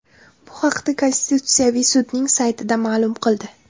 Bu haqda Konstitutsiyaviy sudning saytida ma’lum qildi .